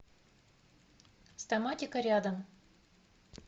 стоматика рядом